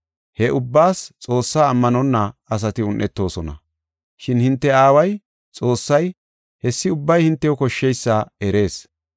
He ubbaas Xoossaa ammanonna asati un7etoosona. Shin hinte aaway Xoossay hessi ubbay hintew koshsheysa erees.